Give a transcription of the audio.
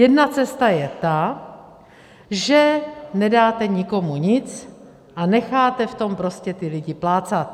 Jedna cesta je ta, že nedáte nikomu nic a necháte v tom prostě ty lidi plácat.